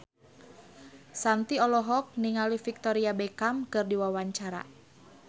Shanti olohok ningali Victoria Beckham keur diwawancara